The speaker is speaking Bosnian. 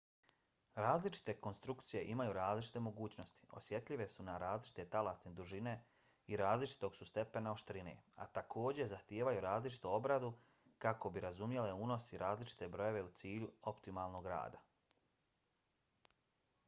različite konstrukcije imaju različite mogućnosti osjetljive su na različite talasne dužine i različitog su stepena oštrine a također zahtijevaju različitu obradu kako bi razumjele unos i različite brojeve u cilju optimalnog rada